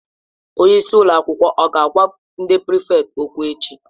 Onye isi ụlọ akwụkwọ ọ ga-agwa ndị prịfèkt okwụ echi?